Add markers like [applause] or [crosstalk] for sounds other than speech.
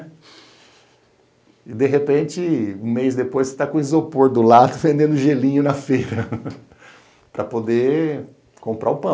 E de repente, um mês depois, você está com o isopor do lado, vendendo gelinho na feira, [laughs] para poder comprar o pão.